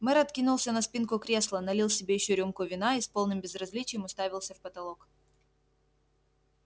мэр откинулся на спинку кресла налил себе ещё рюмку вина и с полным безразличием уставился в потолок